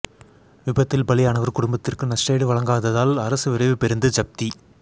விபத்தில் பலியானவர் குடும்பத்திற்கு நஷ்டஈடு வழங்காததால் அரசு விரைவுப் பேருந்து ஜப்தி